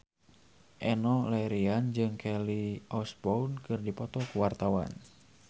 Enno Lerian jeung Kelly Osbourne keur dipoto ku wartawan